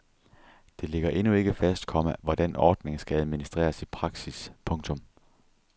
Det ligger endnu ikke fast, komma hvordan ordningen skal administreres i praksis. punktum